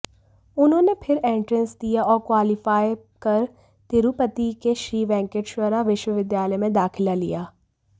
उन्होंने फिर एंट्रेंस दिया और क्वालीफाई कर तिरुपति के श्री वेंकटेश्वरा विश्वविद्यालय में दाखिला लिया